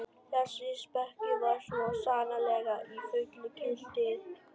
Þessi speki var svo sannarlega í fullu gildi núna.